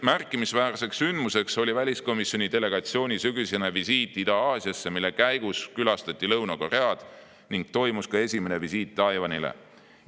Märkimisväärne sündmus oli väliskomisjoni delegatsiooni sügisene visiit Ida-Aasiasse, mille käigus külastati Lõuna-Koread ning toimus ka esimene visiit Taiwanile.